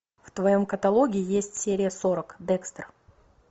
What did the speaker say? в твоем каталоге есть серия сорок декстер